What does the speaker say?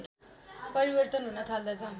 परिवर्तन हुन थाल्दछ